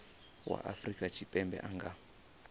wa afrika tshipembe a nga